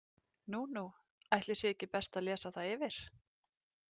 Nú, nú, ætli sé ekki best að lesa það yfir?